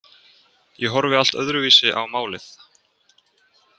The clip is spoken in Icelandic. Ég horfi allt öðruvísi á málið.